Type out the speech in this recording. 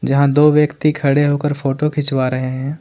जहां दो व्यक्ति खड़े होकर फोटो खिंचवा रहे हैं।